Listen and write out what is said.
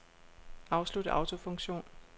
Afslut autofunktion.